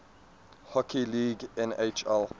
hockey league nhl